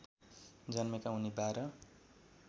जन्मेका उनी १२